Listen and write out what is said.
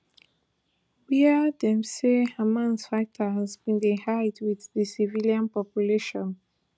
wia dem say hamas fighters bin dey hide wit di civilian population